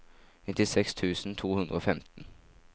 nittiseks tusen to hundre og femten